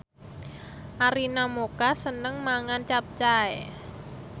Arina Mocca seneng mangan capcay